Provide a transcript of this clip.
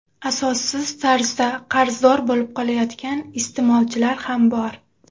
Asossiz tarzda qarzdor bo‘lib qolayotgan iste’molchilar ham bor.